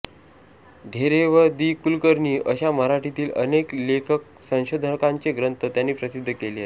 ढेरे व दि कुलकर्णी अशा मराठीतील अनेक लेखकसंशोधकांचे ग्रंथ त्यांनी प्रसिद्ध केले आहेत